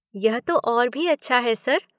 यह तो और भी अच्छा है, सर।